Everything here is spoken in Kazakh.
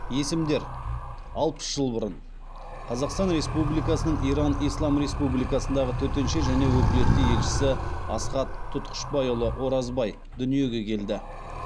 есімдер алпыс жыл бұрын қазақстан республикасының иран ислам республикасындағы төтенше және өкілетті елшісі асхат тұтқышбайұлы оразбай дүниеге келді